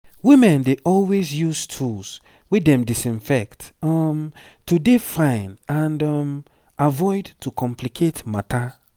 women dey always use tools wey dem disinfect um to dey fine and um avoid to complicate matter